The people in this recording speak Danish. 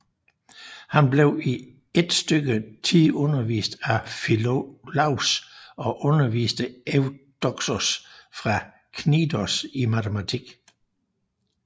Han blev i et stykke tid undervist af Filolaos og underviste Evdoksos fra Knidos i matematik